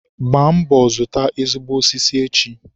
Gbaa mbọ zụta ezigbo osisi echi!